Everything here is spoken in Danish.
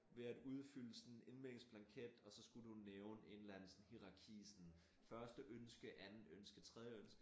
Ved at udfylde sådan en indmeldingsblanket og så skulle du nævne en eller anden sådan hierarki sådan første ønske anden ønske tredje ønske